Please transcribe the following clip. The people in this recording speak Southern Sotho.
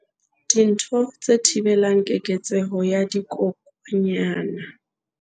Dintho tse thibelang keketseho ya dikokwanyana